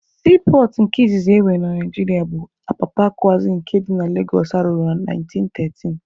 Siipọọtụ izizi e nwere na Naijiria bụ Apapa kwazi nke dị na Legosụ arụrụ na 1913.